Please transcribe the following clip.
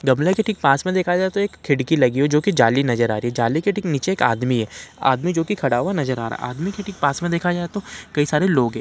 गमले के ठीक पास में देखा जाए तो एक खिड़की लगी है जोकि जाली नजर आ रही है। जाली के ठीक नीचे एक आदमी है आदमी जोकि खड़ा हुआ नजर आ रहा है आदमी के ठीक पास में देखा जाए तो कई सारे लोग हैं।